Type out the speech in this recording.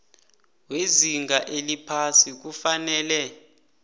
wezinga eliphasi kufanele